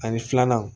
Ani filananw